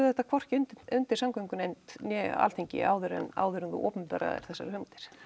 þetta hvorki undir undir samgöngunefnd né Alþingi áður en áður en þú opinberaðir þessar hugmyndir